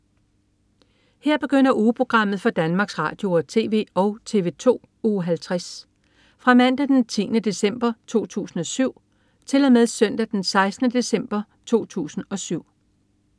Her begynder ugeprogrammet for Danmarks Radio- og TV og TV2 Uge 50 Fra Mandag den 10. december 2007 Til Søndag den 16. december 2007